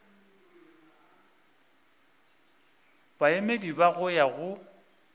baemedi ba go ya go